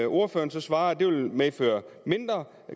ordføreren svarer at det vil medføre mindre